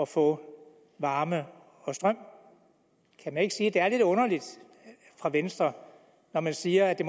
få varme og strøm kan man ikke sige at det er lidt underligt af venstre når man siger at det